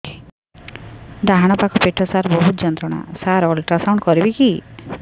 ଡାହାଣ ପାଖ ପେଟ ସାର ବହୁତ ଯନ୍ତ୍ରଣା ସାର ଅଲଟ୍ରାସାଉଣ୍ଡ କରିବି କି